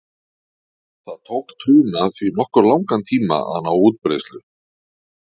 Það tók trúna því nokkuð langan tíma að ná útbreiðslu.